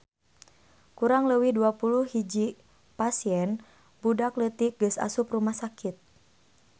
Kurang leuwih 21 pasien budak leutik geus asup rumah sakit